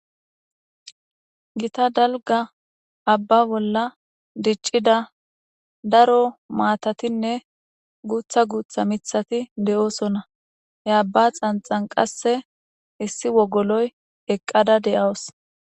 Gita dalga abba bolla diccida daro maatatinne guutha guutha mithati de7oosona he abba xanxan qasse issi wogoloy eqqada de7awos